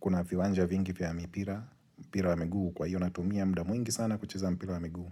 kuna viwanja vingi vya mipira mpira wa miguu. Kwa hiyo natumia muda mwingi sana kucheza mpira wa miguu.